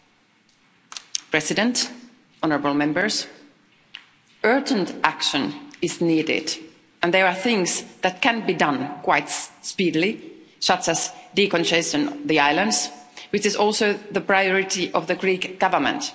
Madam President, honourable Members, urgent action is needed, and there are things that can be done quite speedily such as decongesting the islands, which is also the priority of the Greek Government.